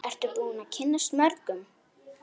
Ertu búin að kynnast mörgum?